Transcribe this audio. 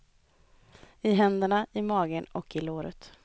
I händerna, i magen och i låret.